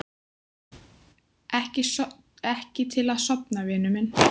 Ekki til að sofna, vinur minn.